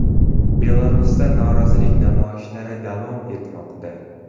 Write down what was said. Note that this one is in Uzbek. Belarusda norozilik namoyishlari davom etmoqda.